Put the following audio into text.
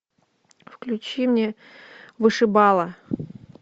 включи мне вышибала